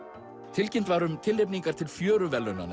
tilkynnt var um tilnefningar til